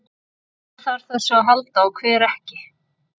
Hver þarf á þessu að halda og hver ekki?